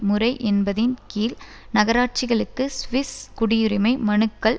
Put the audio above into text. முறை என்பதின் கீழ் நகராட்சிகளுக்கு ஸ்விஸ் குடியரிமை மனுக்கள்